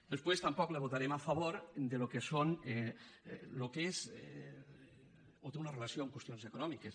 després tampoc li votarem a favor del que és o té una relació amb qüestions econòmiques